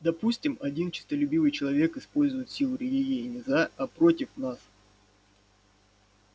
допустим один честолюбивый человек использует силу религии не за а против нас